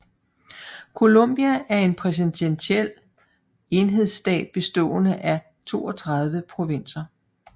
Colombia er en præsidentiel enhedsstat bestående af 32 provinser